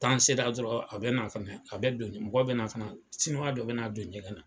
N'an sera dɔrɔn, a bɛ na, a bɛ don , mɔgɔ bɛ na , siniwa dɔ bɛ na don ɲɛgɛn na.